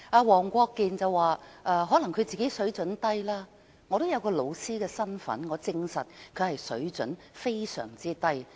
黃國健議員說可能是他自己的水準低，我也有教師身份，我證實他的水準非常低。